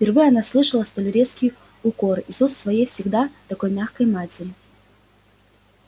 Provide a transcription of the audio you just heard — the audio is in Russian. впервые она слышала столь резкие укоры из уст своей всегда такой мягкой матери